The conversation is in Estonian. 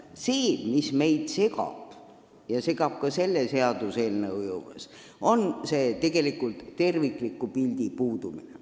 See, mis meid segab ja segab ka selle seaduseelnõu juures, on tegelikult tervikliku pildi puudumine.